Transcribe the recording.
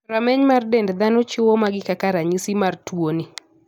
Rameny mar dend dhano chiwo magi kaka ranyisi mar tuo ni.